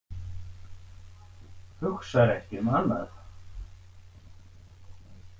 Hugsar ekki um annað.